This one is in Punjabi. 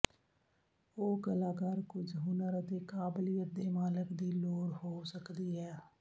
ਉਹ ਕਲਾਕਾਰ ਕੁਝ ਹੁਨਰ ਅਤੇ ਕਾਬਲੀਅਤ ਦੇ ਮਾਲਕ ਦੀ ਲੋੜ ਹੋ ਸਕਦੀ ਹੈ